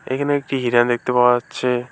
এইখানে একটি হিরণ দেখতে পাওয়া যাচ্ছে।